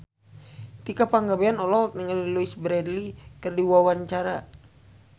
Tika Pangabean olohok ningali Louise Brealey keur diwawancara